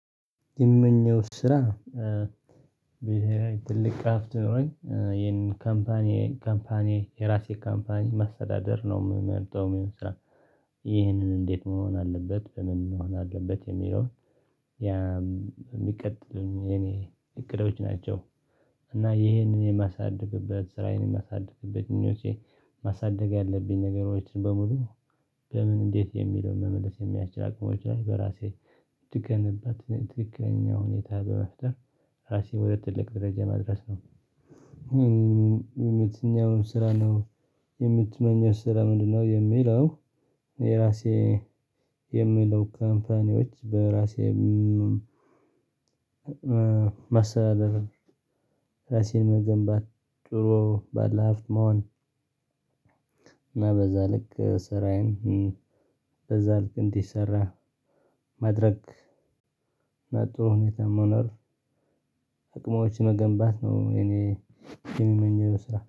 የምመኘው ስራ ብሄራዊ ትልቅ አፍት ኖሮኝ ይሄንን ካምፓኒ ካምፓኒ የራሴ ካምፓኒ ማሰዳደር ነው የምመልከው የሚሆነው ስራ። ይህንን እንዴት መሆን አለበት ምን ነው አለበት የሚለውን የሚቀጥል የኔ እቅዶች ናቸው እና ይሄንን የማሳድግበት ስራዬን የማሳድግበት ምኞቼ ማሳደግ ያለብኝ ነገሮችን በሙሉ በምን እንዴት የሚለውን መመለስ የሚያስችል አቅሞች ላይ በራሴ የተገነባትን ትክክለኛ ሁኔታ በመፍጠር ራሴን ሁለት ትልቅ ደረጃ መድረስ ነው። የትኛውን ስራ ነው የምትመኘው ስራ ምንድነው? የሚለው የራሴ የሚለው ካምፓኒዎች በራሴ ማስተዳደርን። ራሴን መገንባት ጥሩ ባለሀፍት መሆን እናበዛ ልክ ስራዬን በዛ ልክ እንዲሰራ ማድረግ በጥሩ ሁኔታ መኖር አቅማዎች መገንባት ነው እኔ የሚመኘው ስራ።